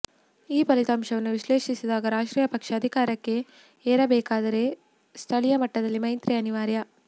ಈ ಫಲಿತಾಂಶವನ್ನು ವಿಶ್ಲೇಷಿಸಿದಾಗ ರಾಷ್ಟ್ರೀಯ ಪಕ್ಷ ಅಧಿಕಾರಕ್ಕೆ ಏರಬೇಕಾದರೆ ಸ್ಥಳೀಯ ಮಟ್ಟದಲ್ಲಿ ಮೈತ್ರಿ ಅನಿವಾರ್ಯ